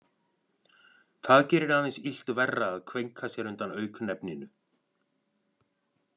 Það gerir aðeins illt verra að kveinka sér undan auknefninu.